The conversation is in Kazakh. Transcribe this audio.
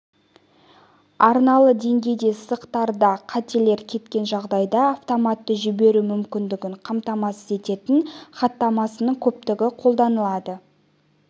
арналы деңгейде сызықтарда қателер кеткен жағдайда автоматты жіберу мүмкіндігін қамтамасыз ететін хаттамасының көптігі қолданылады